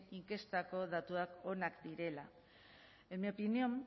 inkestako datuak onak direla en mi opinión